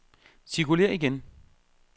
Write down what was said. cirkulér igen